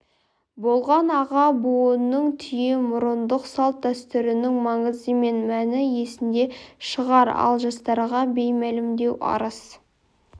болған аға буынның түйемұрындық салт дәстүрінің маңызы мен мәні есінде шығар ал жастарға беймәлімдеу арыс